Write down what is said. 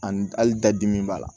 Ani hali dadimi b'a la